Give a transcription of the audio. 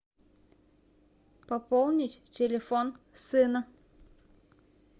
пополнить телефон сына